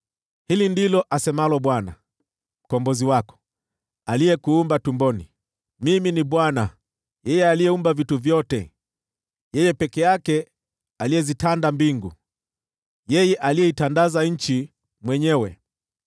“Hili ndilo asemalo Bwana , Mkombozi wako, aliyekuumba tumboni: “Mimi ni Bwana , niliyeumba vitu vyote, niliyezitanda mbingu peke yangu, niliyeitandaza nchi mwenyewe,